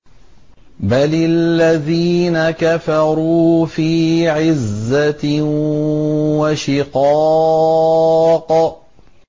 بَلِ الَّذِينَ كَفَرُوا فِي عِزَّةٍ وَشِقَاقٍ